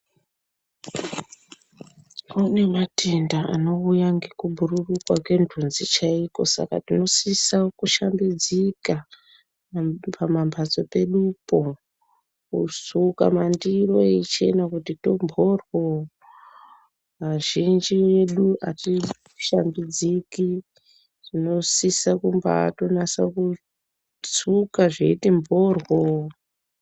Kune matenda anouya ngekubhururuka kwentunzi chaiko saka tinosisa kushambidzika pamambatso pedupo kusuka mandiro eichena kuti mphorywoo. Azhinji edu atishambidziki tinosisa kumbaatonase kusuka zveiti mphorywoo.